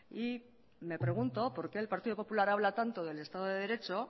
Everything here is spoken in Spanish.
y me pregunto por qué el partido popular habla tanto del estado de derecho